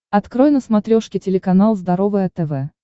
открой на смотрешке телеканал здоровое тв